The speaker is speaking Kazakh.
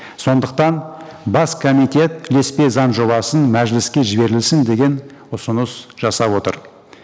сондықтан бас комитет ілеспе заң жобасын мәжіліске жіберілсін деген ұсыныс жасап отыр